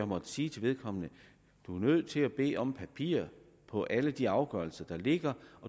måttet sige til vedkommende du er nødt til at bede om papirer på alle de afgørelser der ligger